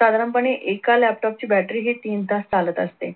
साधारणपणे एका laptop ची battery ही तीन तास चालत असते.